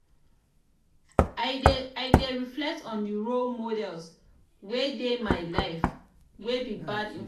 i dey reflect on di role models wey dey my life wey be bad influence.